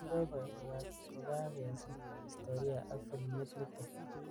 " Kiboiboi kokakasir historia ak filimit nitok.